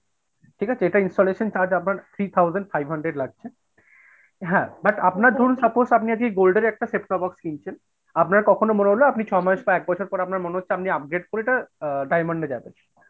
ঠিক আছে? এটার installation charge আপনার three thousand five hundred লাগছে হ্যাঁআপনার ধরুন suppose আপনি আজ কে gold এর একটা set up box কিনছেন আপনার কখনো মনে হলো আপনি ছমাস বা একবছর পর আপনার মনে হচ্ছে আপনি upgrade করে এটা diamond এ যাবেন।